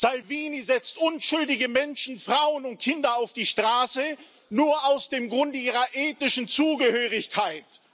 Salvini setzt unschuldige Menschen, Frauen und Kinder auf die Straße, nur aus dem Grunde ihrer ethnischen Zugehörigkeit.